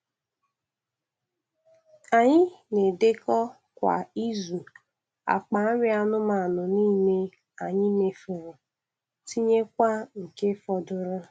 Anyị na-edekọ kwa izu, akpa nri anụmanụ niile anyị mefuru, tinyekwa nke fọdụrụ.